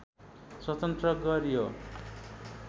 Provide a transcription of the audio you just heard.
स्वतन्त्र गरियो